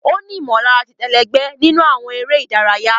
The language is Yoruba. O ni imọlara titẹ ẹlẹgbẹ nínú awọn eré ìdárayá.